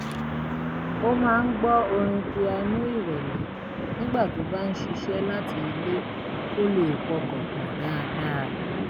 ó máa ń gbọ́ orin pianó ìrẹ̀lẹ̀ nígbà tó bá ń ṣiṣẹ́ láti ilé kó lè pọkàn pọ̀ dáadáa